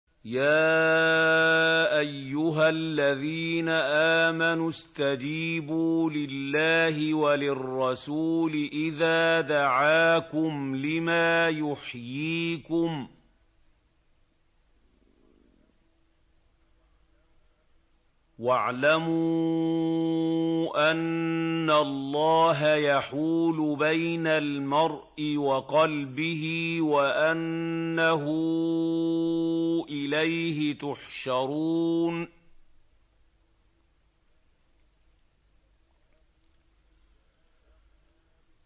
يَا أَيُّهَا الَّذِينَ آمَنُوا اسْتَجِيبُوا لِلَّهِ وَلِلرَّسُولِ إِذَا دَعَاكُمْ لِمَا يُحْيِيكُمْ ۖ وَاعْلَمُوا أَنَّ اللَّهَ يَحُولُ بَيْنَ الْمَرْءِ وَقَلْبِهِ وَأَنَّهُ إِلَيْهِ تُحْشَرُونَ